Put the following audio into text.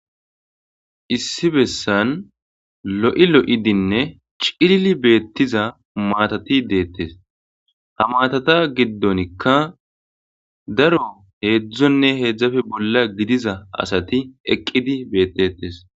issi bessan lo7i lo7idinne cilli beettiza maatati deettes ha matata giddonikka daro heedzdzonne heedzdzafe bolla gidiza asati eqqidi beettetes